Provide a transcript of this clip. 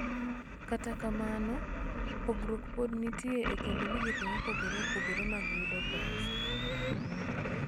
Kata kamano, pogruok pod nitie e kind migepe mopogore opogore mag yudo pesa